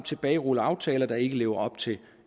tilbagerulle aftaler der ikke lever op til